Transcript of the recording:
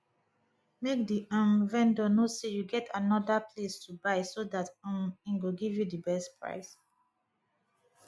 make di um vendor know sey you get anoda place to buy so dat um im go give you di best price